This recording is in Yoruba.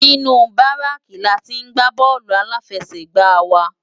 Ninú báráki látì n gbá bòlú áláfèsègbá wá